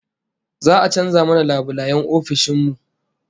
Za'a canza mana labulayen ofishin mu